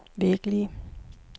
virkelige